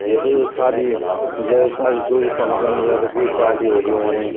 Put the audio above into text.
यत शादी या शादी-शुदी फंक्शन या त क्वि पाल्टी होली हुणि।